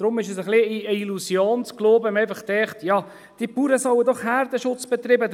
Deshalb ist es ein wenig eine Illusion, einfach zu denken, diese Bauern sollten doch Herdenschutz betreiben.